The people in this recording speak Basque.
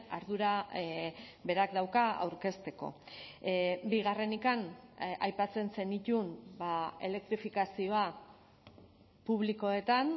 ardura berak dauka aurkezteko bigarrenik aipatzen zenituen elektrifikazioa publikoetan